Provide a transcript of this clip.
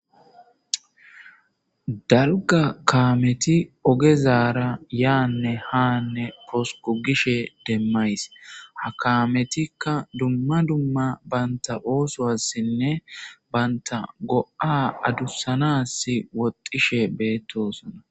Daligga kameti ogezarra yanne hanne posiki gishini demayis ha kametika duma duma banitta ossowasinne banita go'a adusanasi woxishe betosona